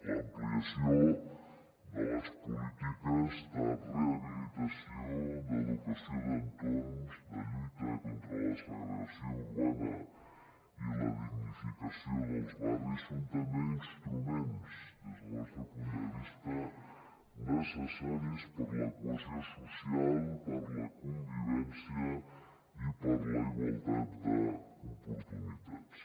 l’ampliació de les polítiques de rehabilitació d’entorns de lluita contra la segregació urbana i de dignificació dels barris són també instruments des del nostre punt de vista necessaris per a la cohesió social per a la convivència i per a la igualtat d’oportunitats